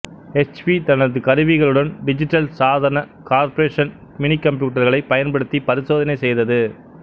HP தனது கருவிகளுடன் digital சாதன கார்ப்பரேஷன் மினிகம்ப்யூட்டர்களைப் பயன்படுத்தி பரிசோதனை செய்தது